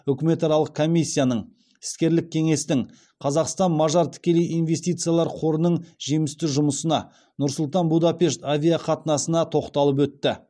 үкіметаралық комиссияның іскерлік кеңестің қазақстан мажар тікелей инвестициялар қорының жемісті жұмысына нұр сұлтан будапешт авиақатынасына тоқталып өтті